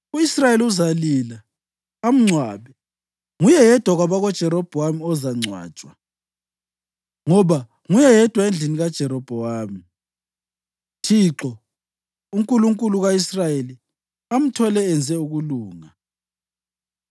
U-Israyeli uzalila amngcwabe. Nguye yedwa kwabakaJerobhowamu ozangcwatshwa, ngoba nguye yedwa endlini kaJerobhowamu, uThixo, uNkulunkulu ka-Israyeli, amthole enze ukulunga.